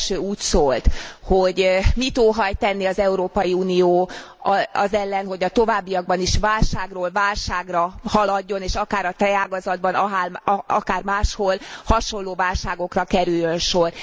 Az első úgy szólt, hogy mit óhajt tenni az Európai Unió az ellen, hogy a továbbiakban is válságról válságra haladjon, és akár a tejágazatban, akár máshol hasonló válságokra kerüljön sor.